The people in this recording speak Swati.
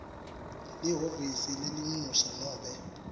lihhovisi lelincusa nobe